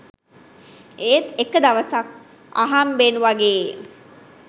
ඒත් එක දවසක් අහම්බෙන් වගේ